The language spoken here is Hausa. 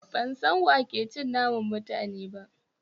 Ban san wa ke cin naman mutane ba